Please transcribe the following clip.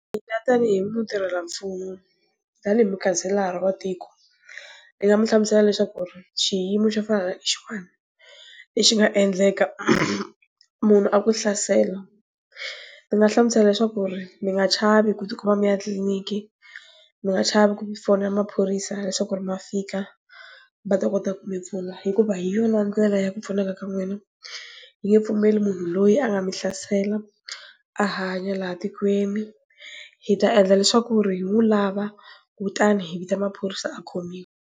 Tanihi mutirhelamfumo, tanihi mukhanselara wa tiko, ni nga mu hlamusela leswaku ri xiyimo xa fana na lexiwana, lexi nga endleka munhu a ku hlasela. Ndzi nga hlamusela leswaku ri, mi nga chavi ku kuma mi ya tliliniki, mi nga chavi ku fonela maphorisa leswaku ri ma fika, va ta kota mi pfuna. Hikuva hi yona ndlela ya ku pfuneka ka n'wina, hi nge pfumeli munhu loyi a nga mi hlasela, a hanya laha tikweni. Hi ta endla leswaku ri hi n'wi lava, kutani hi vita maphorisa a khomiwa.